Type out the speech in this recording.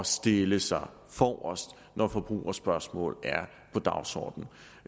stille sig forrest når forbrugerspørgsmål er på dagsordenen